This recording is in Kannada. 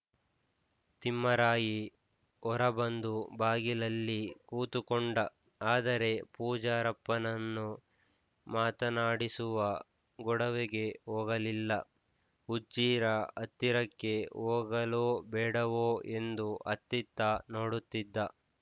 ತಿಮ್ಮರಾಯಿ ಹೊರಬಂದು ಬಾಗಿಲಲ್ಲಿ ಕೂತುಕೊಂಡ ಆದರೆ ಪೂಜಾರಪ್ಪನನ್ನು ಮಾತನಾಡಿಸುವ ಗೊಡವೆಗೆ ಹೋಗಲಿಲ್ಲ ಹುಚ್ಚೀರ ಹತ್ತಿರಕ್ಕೆ ಹೋಗಲೊ ಬೇಡವೋ ಎಂದು ಅತ್ತಿತ್ತ ನೋಡುತ್ತಿದ್ದ